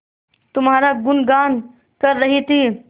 तुम्हारा गुनगान कर रही थी